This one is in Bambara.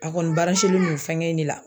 A kɔni don fɛnkɛ in de la.